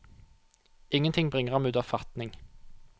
Ingenting bringer ham ut av fatning.